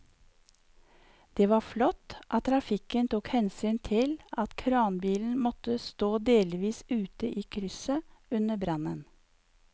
Det var flott at trafikken tok hensyn til at kranbilen måtte stå delvis ute i krysset under brannen.